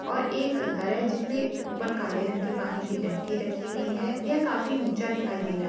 और एक घर है जिसमे ऊपर काले रंग की पानी की टंकी रखी हुई है यह काफी ऊँचा दिखाई दे रहा है।